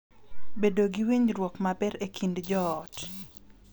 Bedo gi winjruok maber e kind joot.